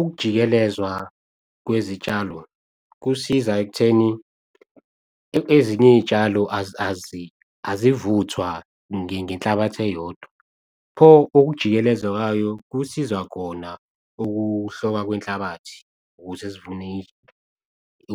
Ukujikelezwa kwezitshalo kusiza ekutheni, ezinye iy'tshalo azivuthwa ngenhlabathi eyodwa. Pho okujikeleza kwayo, kusizwa kona ukuhlokwa kwenhlabathi